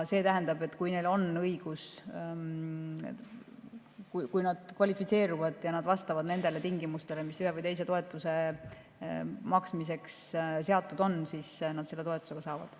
See tähendab, et kui nad kvalifitseeruvad ja vastavad nendele tingimustele, mis ühe või teise toetuse maksmiseks seatud on, siis nad seda toetust ka saavad.